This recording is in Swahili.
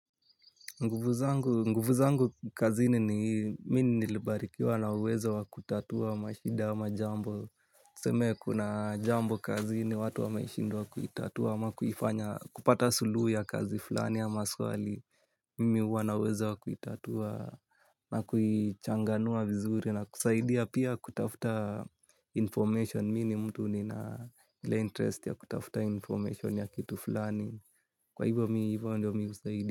Nguvu zangu, nguvu zangu kazini ni mimi nilibarikiwa na uwezo wa kutatua mashida ama jambo. Tuseme kuna jambo kazini watu wameshindwa kuitatua ama kupata suluhu ya kazi fulani ama swali. Mimi huwa nauwezo wa kuitatua na kuichanganua vizuri na kusaidia pia kutafuta information mimi ni mtu nina ile interest ya kutafuta information ya kitu fulani. Kwa hivyo mi, hivyo ndiyo mimi husaidia.